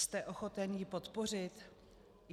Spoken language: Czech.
Jste ochoten ji podpořit?